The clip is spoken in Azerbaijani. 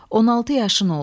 16 yaşın oldu.